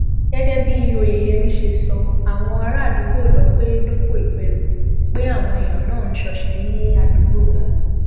gẹgẹ bí oyeyẹmí ṣe sọ àwọn àràádúgbò lọ pé dópò ìpẹrù pé àwọn èèyàn náà ń ṣọṣẹ ní àdúgbò náà